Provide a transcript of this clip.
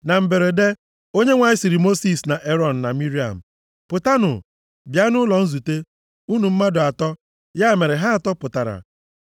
Na mberede, Onyenwe anyị sịrị Mosis, na Erọn, na Miriam, “Pụtanụ, bịa nʼụlọ nzute, unu mmadụ atọ” Ya mere ha atọ pụtara.